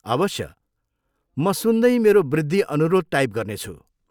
अवश्य, म सुन्दै मेरो वृद्धि अनुरोध टाइप गर्नेछु।